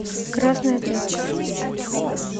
красная тряпка